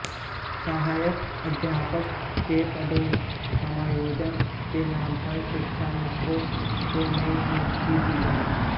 सहायक अध्यापक के पदों पर समायोजन के नाम पर शिक्षमित्रों को नई नियुक्ति दी गई